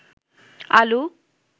আলু